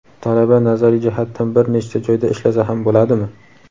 Talaba nazariy jihatdan bir nechta joyda ishlasa ham bo‘ladimi?.